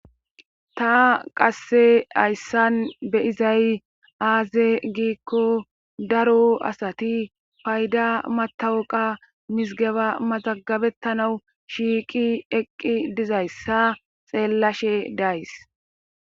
Ta qasse hayssan beyizay aaze giikko daro asati payda matawuqa misgeba maxagabettanawu shiiqi eqqi dizayssa xeellashe days